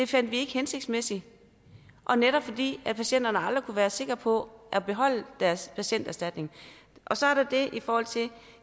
fandt det hensigtsmæssigt netop fordi patienterne aldrig kunne være sikre på at beholde deres patienterstatning så er der det i forhold til